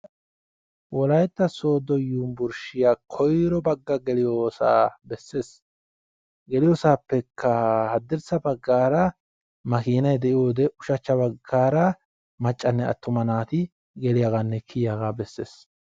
Wolaytta sooddo yuunburshiya koyiro bagga geliyoosaa bessees. Geliyoosaappekka haddirssa baggaara makiinay de"iyoodee ushachcha baggaara maccanne attuma naati geliyaagaanne kiyiyaaga bessees.